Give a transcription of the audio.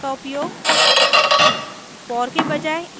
each construct का उपयोग